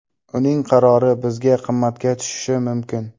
Uning qarori bizga qimmatga tushishi mumkin.